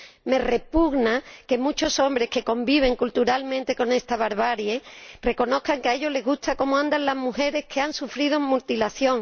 Me repugna que muchos hombres que conviven culturalmente con esta barbarie reconozcan que a ellos les gusta cómo andan las mujeres que han sufrido mutilación.